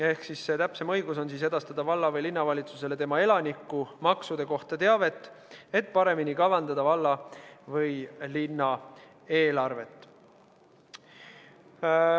Ehk täpsemalt, ametil on õigus edastada valla- või linnavalitsusele tema elaniku maksude kohta teavet, et paremini kavandada valla või linna eelarvet.